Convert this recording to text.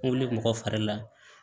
N wuli mɔgɔ fari la